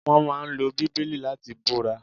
Wón máa ń lo Bíbélì láti búra